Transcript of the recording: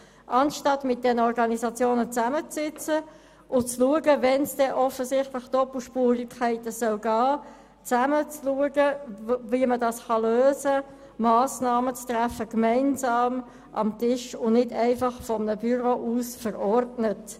Anstatt mit den Organisationen zusammenzusitzen und im Fall von Doppelspurigkeiten gemeinsam zu schauen, wie man diese lösen kann, indem man gemeinsam am Tisch Massnahmen trifft, wurden diese von einem Büro aus verordnet.